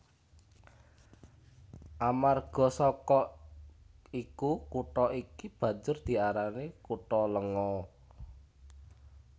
Amarga saka iku kutha iki banjur diarani kutha lenga